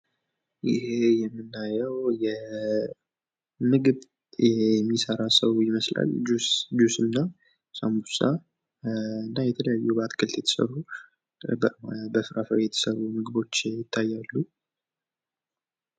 ይህ የምናየው ምግብ ሚሰራን ሰው ይመስላል። ጁስ እና ሳምቡሳ እንዲሁም የተለያዩ በአትክልት የተሰሩ በፍራፍሬ የተሰሩ ምግቦች ይታያሉ